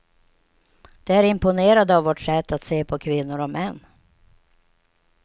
De är imponerade av vårt sätt att se på kvinnor och män.